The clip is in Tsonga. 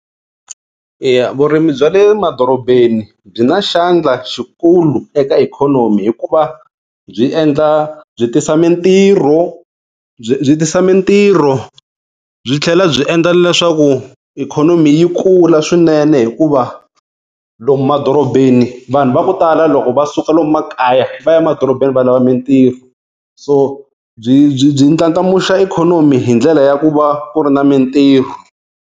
Eya vurimi bya le madorobeni byi na xandla xikulu eka ikhonomi hikuva byi endla byi tisa mintirho byi byi tisa mintirho byi tlhela byi endla leswaku ikhonomi yi kula swinene hikuva lomu madorobeni vanhu va ku tala loko va suka lomu makaya, va ya madorobeni va lava mintirho. So byi byi byi ndlandlamuxa ikhonomi hi ndlela ya ku va ku ri na mintirho.